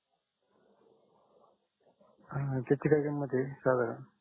हा त्याची काय किमत आहे साधारण